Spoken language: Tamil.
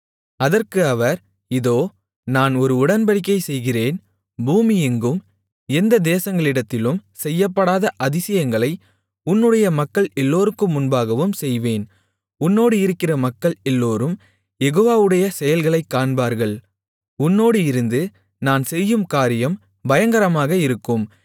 அதற்கு அவர் இதோ நான் ஒரு உடன்படிக்கை செய்கிறேன் பூமியெங்கும் எந்த தேசங்களிடத்திலும் செய்யப்படாத அதிசயங்களை உன்னுடைய மக்கள் எல்லோருக்கும் முன்பாகவும் செய்வேன் உன்னோடு இருக்கிற மக்கள் எல்லோரும் யெகோவாவுடைய செயல்களைக் காண்பார்கள் உன்னோடு இருந்து நான் செய்யும் காரியம் பயங்கரமாக இருக்கும்